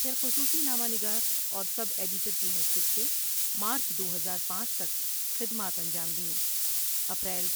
پھر خصوصی نامہ نگار اور سب ایڈیٹر کی حیثیت سے مارچ دو ہزار پانچ تک خدمات انجام دیں اپریل